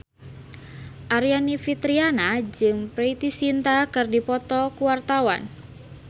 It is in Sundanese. Aryani Fitriana jeung Preity Zinta keur dipoto ku wartawan